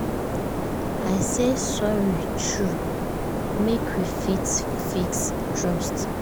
i say sorry true make we fit fix trust